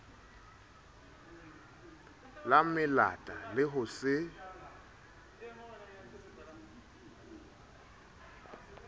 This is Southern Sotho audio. la melata le ho se